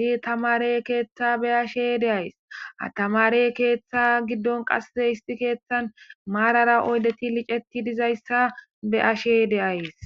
isi tamare keeththa be'ashe de'ays, ha tamare keeththa giddon qasse issi kethan maarara oydeti liceti dizayssa be'ashe de'ays.